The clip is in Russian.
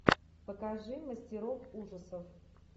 покажи мастеров ужасов